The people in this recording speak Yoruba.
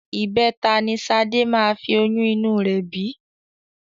Ìbẹta ni Ṣadé máa fi oyún inú rẹ bí